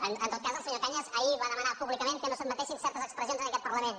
en tot cas el senyor cañas ahir va demanar pública·ment que no s’admetessin certes expressions en aquest parlament